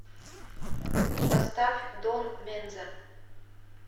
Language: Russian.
поставь дон менза